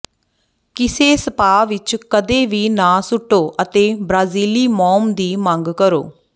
ਕਿਸੇ ਸਪਾ ਵਿੱਚ ਕਦੇ ਵੀ ਨਾ ਸੁੱਟੋ ਅਤੇ ਬ੍ਰਾਜ਼ੀਲੀ ਮੋਮ ਦੀ ਮੰਗ ਕਰੋ